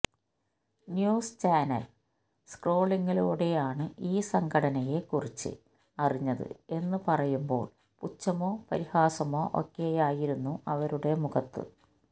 news channel സ്ക്രോളിലൂടെ ആണ് ഈ സംഘടനയെ കുറിച്ച് അറിഞ്ഞത് എന്ന് പറയുമ്പോള് പുച്ഛമോ പരിഹാസമോ ഒക്കെയായിരുന്നു അവരുടെ മുഖത്ത്